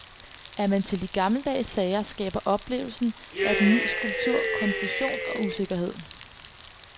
Er man til de gammeldags sager skaber oplevelsen af den ny skulptur konfusion og usikkerhed.